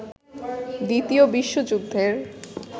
দ্বিতীয় বিশ্বযুদ্ধের